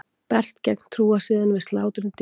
Berst gegn trúarsiðum við slátrun dýra